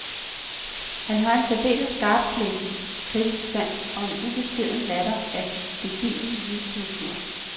Han har en særdeles skarpsleben kritisk sans og en ubeskeden latter af gedigen jysk natur.